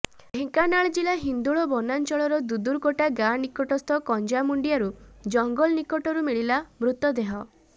ଢେଙ୍କାନାଳ ଜିଲ୍ଲା ହିନ୍ଦୋଳ ବନାଞ୍ଚଳର ଦୁଦୁରୁକୋଟ ଗାଁ ନିକଟସ୍ଥ କଞ୍ଜାମୁଣ୍ଡିଆରୁ ଜଙ୍ଗଲରୁ ମିଳିଲା ମୃତଦେହ